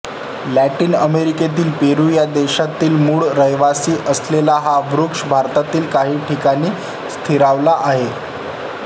Latin अमेरिकेतील Peru या देशाचा मूळ रहिवासी असलेला हा वृक्ष भारतात काही ठिकाणी स्थिरावला आहे